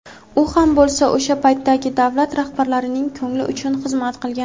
u ham bo‘lsa o‘sha paytdagi davlat rahbarining ko‘ngli uchun xizmat qilgan.